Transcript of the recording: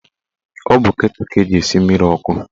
Ọ bụ ketụl ka eji esi mmiri ọkụ